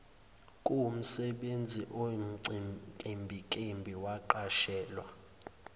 kuwumsebenzi oyinkimbinkimbi kwaqashelwa